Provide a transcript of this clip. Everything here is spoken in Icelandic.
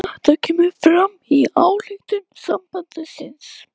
Þetta kemur fram í ályktun sambandsins